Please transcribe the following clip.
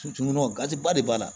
gatiba de b'a la